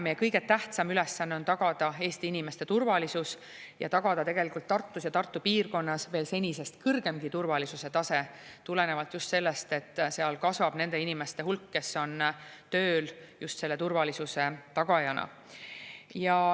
Meie kõige tähtsam ülesanne on tagada Eesti inimeste turvalisus ja tagada tegelikult Tartus ja Tartu piirkonnas senisest kõrgemgi turvalisuse tase, tulenevalt sellest, et seal kasvab nende inimeste hulk, kes on tööl just selle turvalisuse tagajana.